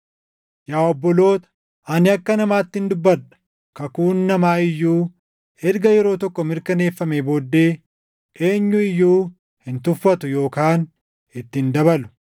Yaa obboloota, ani akka namaattin dubbadha. Kakuun namaa iyyuu erga yeroo tokko mirkaneeffamee booddee eenyu iyyuu hin tuffatu yookaan itti hin dabalu.